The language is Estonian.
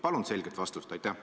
Palun selget vastust!